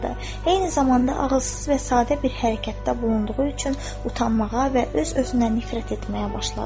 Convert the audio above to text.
Eyni zamanda ağızsız və sadə bir hərəkətdə bulunduğu üçün utanmağa və öz-özünə nifrət etməyə başladı.